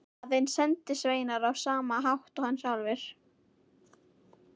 Aðeins sendisveinar á sama hátt og hann sjálfur.